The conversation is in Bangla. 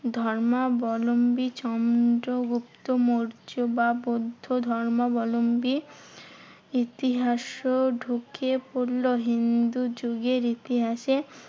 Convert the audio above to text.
ধর্মাবলম্বী চন্দ্রগুপ্ত মৌর্য বা বৌদ্ধ ধর্মাবলম্বী ইতিহাসও ঢুকে পড়লো হিন্দু যুগের ইতিহাসে।